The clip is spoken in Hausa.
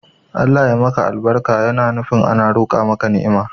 Allah ya maka albarka yana nufi ana roqa maka ni'ima